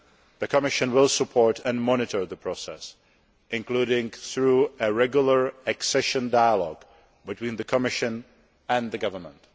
The Commission will support and monitor the process, including through a regular accession dialogue between the Commission and the government.